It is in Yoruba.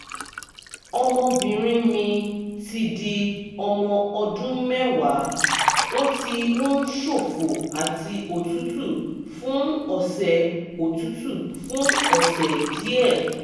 ọmọbìnrin mi ti di ọmọ ọdún mẹ́wàá ó ti ń ṣòfò àti òtútù fún ọ̀sẹ̀ òtútù fún ọ̀sẹ̀ díẹ̀